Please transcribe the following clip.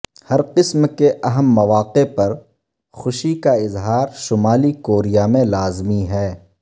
ہر قسم کے اہم مواقع پر خوشی کا اظہار شمالی کوریا میں لازمی ہے